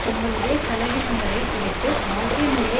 தங்களுடைய செலவினங்களை குறைத்து வாழ்க்கை முறையை